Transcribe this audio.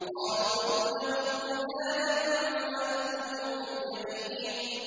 قَالُوا ابْنُوا لَهُ بُنْيَانًا فَأَلْقُوهُ فِي الْجَحِيمِ